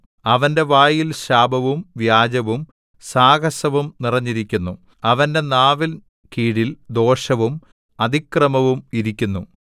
അവന്റെ വായിൽ ശാപവും വ്യാജവും സാഹസവും നിറഞ്ഞിരിക്കുന്നു അവന്റെ നാവിൻ കീഴിൽ ദോഷവും അതിക്രമവും ഇരിക്കുന്നു